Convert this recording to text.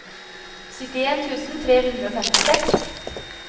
syttien tusen tre hundre og femtiseks